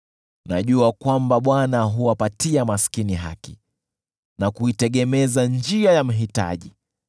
Najua kwamba Bwana huwapatia maskini haki, na kuitegemeza njia ya mhitaji.